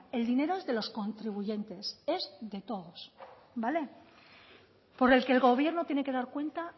el dinero es de los contribuyentes es de todos vale por el que el gobierno tiene que dar cuenta